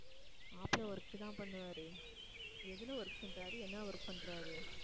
மாப்பிள்ளை work தான் பண்ணுவாரு எதுல work பண்றாரு என்ன work பண்றாரு